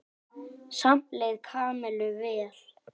Samt leið Kamillu vel.